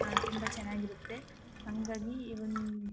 ಆ ತುಂಬಾ ಚೆನ್ನಾಗಿರುತ್ತೆ ಹಂಗಾಗಿ ಈ ಒಂದು--